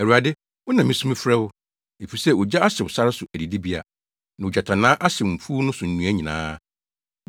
Awurade, wo na misu frɛ wo, efisɛ ogya ahyew sare so adidibea, na ogyatannaa ahyew mfuw no so nnua nyinaa.